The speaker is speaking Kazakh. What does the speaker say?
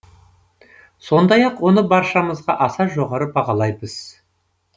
сондай ақ оны баршамыз аса жоғары бағалаймыз